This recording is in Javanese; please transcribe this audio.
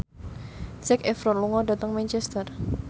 Zac Efron lunga dhateng Manchester